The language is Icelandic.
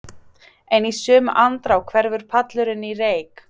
En í sömu andrá hverfur pallurinn í reyk.